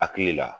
Hakili la